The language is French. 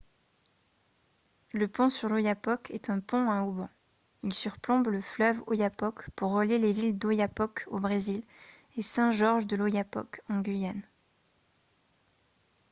le pont sur l'oyapock est un pont à haubans il surplombe le fleuve oyapock pour relier les villes d'oiapoque au brésil et saint-georges-de-l'oyapock en guyane